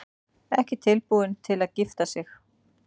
Ekki tilbúin til að gifta sig